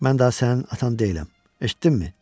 Mən daha sənin atan deyiləm, eşitdinmi?